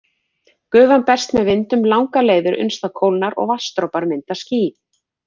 Gufan berst með vindum langar leiðir uns það kólnar og vatnsdropar mynda ský.